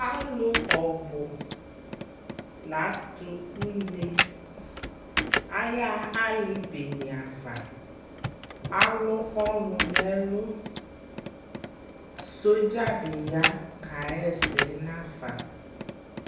Alʊ ɔbʊ latʊ une ayaɣa alibene ava alʊ ɔnʊ nʊ ɛlʊ sodzadɩ ya kahɛsɛ nʊ afa